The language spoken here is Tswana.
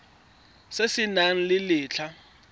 se se nang le letlha